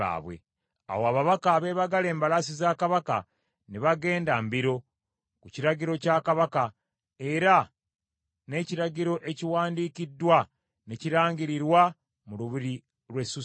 Awo ababaka abeebagala embalaasi za Kabaka, ne bagenda mbiro, ku kiragiro kya Kabaka, era n’ekiragiro ekiwandiikiddwa ne kirangirirwa mu lubiri lw’e Susani.